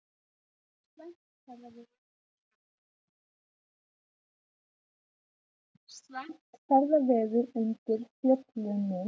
Slæmt ferðaveður undir Fjöllunum